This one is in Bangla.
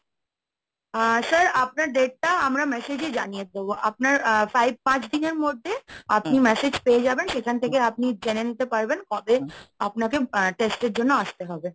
আ স্যার আপনার date টা আমরা message জানিয়ে দেব, আপনার আ five পাঁচ দিনের মধ্যে আপনি massage পেয়ে যাবেন সেখান থেকে আপনি জেনে নিতে পারবেন কবে আপনাকে আ test এর জন্য আসতে হবে।